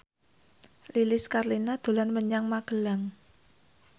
Lilis Karlina dolan menyang Magelang